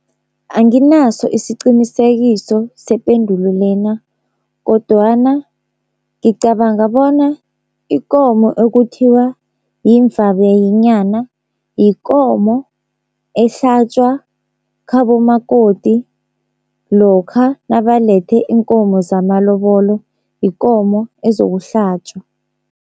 Anginaso isiqinisekiso sependulo lena kodwana ngicabanga bona ikomo ekuthiwa yimvabayenyana yikomo ehlatjwa khabo makoti lokha nabalethe iinkomo zamalobolo, yikomo ezokuhlatjwa.